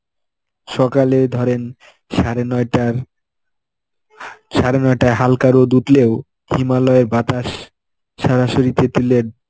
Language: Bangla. সকালে ধরেন সাড়ে নয়টার সাড়ে নটায় হালকা রোদ উঠলেও হিমালয়ের বাতাস সরাসরি তেঁতুলিয়া